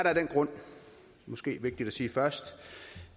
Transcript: måske vigtigt at sige først